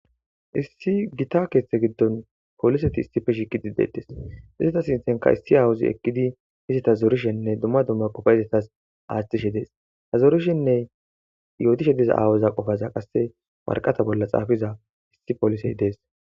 Issi gita keeththe giddon pooliseti issippe shiqidi dettes. Iseta sinthanka issi awuzi ekkidi hizita zorishenne dumma dumma qofa izetas aaththishe dees. Ha zorishenne yootishe diza aawuza qofaza qasse worqata bolla xaafiza issi polisey dees.